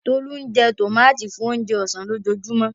Tolu jẹ tòmátì fún oúnjẹ ọ̀sán lójoojúmọ́.